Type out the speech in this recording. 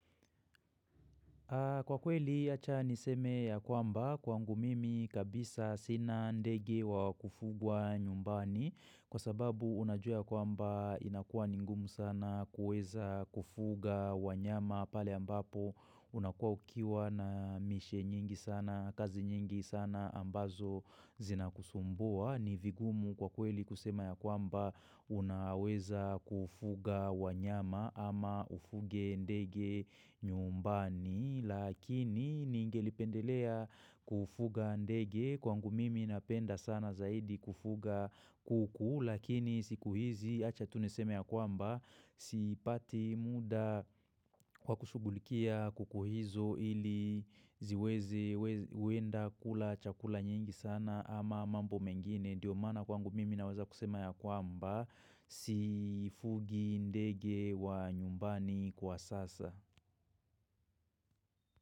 Kwa kweli acha niseme ya kwamba kwangu mimi kabisa sina ndege wa kufugwa nyumbani Kwa sababu unajua kwamba inakua ni ngumu sana kuweza kufuga wanyama pale ambapo unakuwa ukiwa na miche nyingi sana kazi nyingi sana ambazo zinakusumbua ni vigumu kwa kweli kusema ya kwamba unaweza kufuga wanyama ama ufuge ndege nyumbani Lakini ningelipendelea kufuga ndege kwangu mimi napenda sana zaidi kufuga kuku Lakini siku hizi achatuneseme ya kwamba sipati muda wa kushugulikia kuku hizo ili ziweze uenda kula chakula nyingi sana ama mambo mengine ndio mana kwangu mimi naweza kusema ya kwamba sifugi ndege wa nyumbani kwa sasa.